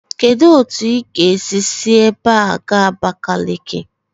Kedu otu ị ga-esi si ebe a gaa Abakeleke?